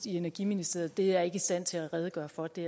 i energiministeriet er jeg ikke i stand til at redegøre for det